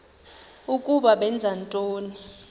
ukuba benza ntoni